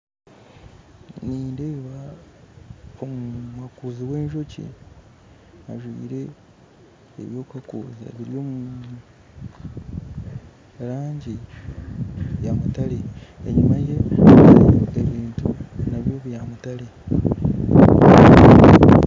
Nindeeba omuhakuzi w'enjoki ajwire ebyokuhakuuza beby'omurangi nyamutaare enyima ye hariyo ebintu nabyo byamutare